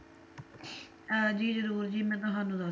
ਅਹ ਜੀ ਜਰੂਰ ਜੀ ਮੈਂ ਤੁਹਾਨੂੰ ਦੱਸ